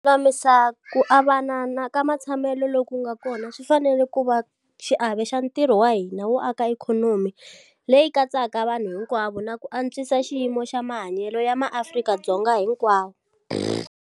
Ku lulamisa ku avanana ka matshamelo loko ku nga kona swi fanele ku va xiave xa ntirho wa hina wo aka ikhonomi leyi katsaka vanhu hinkwavo na ku antswisa xiyimo xa mahanyelo ya maAfrika-Dzonga hinkwavo.